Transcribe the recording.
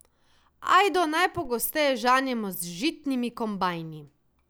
Ajdo najpogosteje žanjemo z žitnimi kombajni.